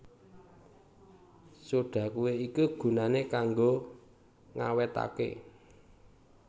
Soda kué iki gunané kanggo ngawétaké